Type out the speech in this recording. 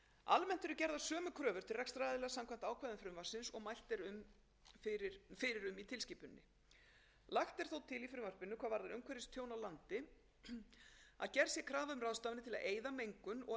til rekstraraðila samkvæmt ákvæðum frumvarpsins og mælt er fyrir um í tilskipuninni lagt er þó til í frumvarpinu hvað varðar umhverfistjón á landi að gerð sé krafa um ráðstafanir til að eyða mengun og endurheimta fyrra ástand lands eða framkvæma jafngildar ráðstafanir samkvæmt fyrsta